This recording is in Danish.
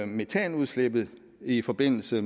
metanudslippet i forbindelse